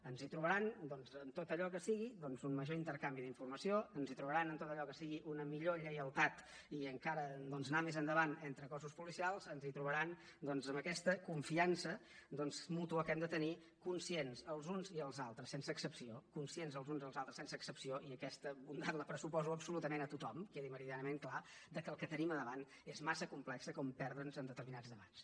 ens trobaran en tot allò que sigui un major intercanvi d’informació ens trobaran en tot allò que sigui una millor lleialtat i encara doncs anar més endavant entre cossos policials ens trobaran en aquesta confiança mútua que hem de tenir conscients els uns i els altres sense excepció conscients els uns i els altres sense excepció i aquesta bondat la pressuposo absolutament a tothom que quedi meridianament clar que el que tenim a davant és massa complex per perdre’ns en determinats debats